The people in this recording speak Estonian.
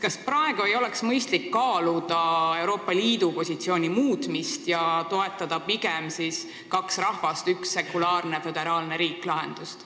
Kas praegu ei oleks mõistlik kaaluda Euroopa Liidu positsiooni muutmist ja toetada pigem sellist lahendust, et on kaks rahvast ja üks sekulaarne föderaalne riik?